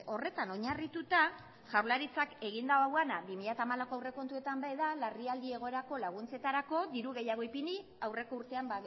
horretan oinarrituta jaurlaritzak egin dauana bi mila hamalauko aurrekontuetan be da larrialdi egoerako laguntzetarako diru gehiago ipini aurreko urtean